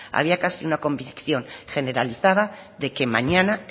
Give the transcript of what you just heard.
había casi una convicción generalizada de que mañana